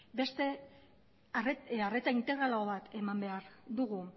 beste arreta integralago bat eman behar dugu